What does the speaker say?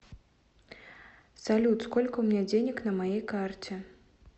салют сколько у меня денег на моей карте